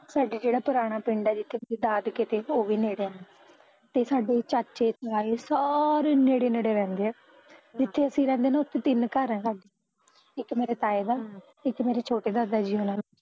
ਸਾਡੇ ਜਿਹੜਾ ਪੁਰਾਣਾ ਪਿੰਡ ਐ ਜਿੱਥੇ ਮੇਰੇ ਦਾਦਕੇ ਤੇ ਉਹ ਵੀ ਨੇੜੇ ਆ ਤੇ ਸਾਡੇ ਚਾਚੇ ਤਾਏ ਸਾਰੇ ਈ ਨੇੜੇ ਨੇੜੇ ਰਹਿੰਦੇ ਐ ਜਿੱਥੇ ਅਸੀਂ ਰਹਿੰਦੇ ਨਾ ਉੱਥੇ ਤਿੰਨ ਘਰ ਐ ਸਾਡੇ ਇੱਕ ਮੇਰੇ ਤਾਏ ਦਾ, ਇੱਕ ਮੇਰੇ ਛੋਟੇ ਦਾਦਾ ਜੀ ਹੁਣਾ ਦਾ